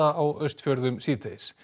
á Austfjörðum síðdegis